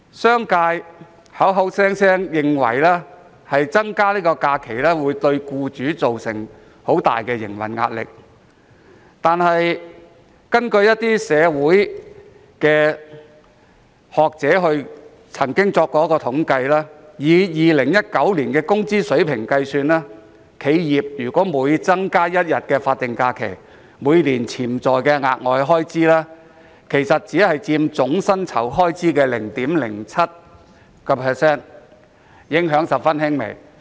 商界認為增加假期會對僱主造成很大的營運壓力，但一些社會學者指出，以2019年的工資水平計算，每增加一天法定假日，企業每年額外開支只佔總薪酬開支的 0.07%， 影響十分輕微。